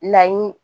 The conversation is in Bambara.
Laɲini